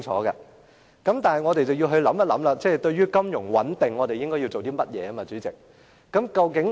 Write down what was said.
代理主席，我們要想一想，對於金融穩定，我們應該要做些甚麼？